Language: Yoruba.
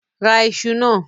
Ra iṣu náà!